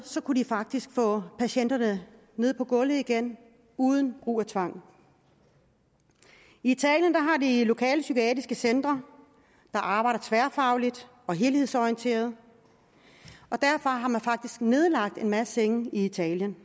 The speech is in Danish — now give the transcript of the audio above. kunne de faktisk få patienterne ned på gulvet igen uden brug af tvang i italien har de lokalpsykiatriske centre der arbejder tværfagligt og helhedsorienteret og derfor har man faktisk nedlagt en masse senge i italien